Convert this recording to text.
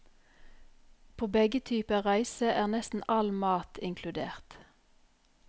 På begge typer reise er nesten all mat inkludert.